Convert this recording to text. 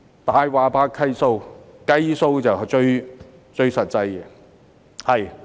"大話怕計數"，計數就最實際。